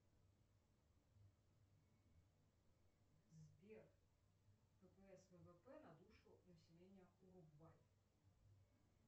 сбер ппс ввп на душу населения уругвай